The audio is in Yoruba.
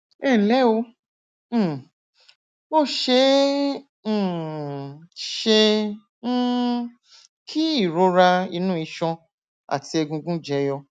ẹnlẹ o um ó ṣe é um ṣe um kí ìrora inú iṣan àti egungun jẹyọ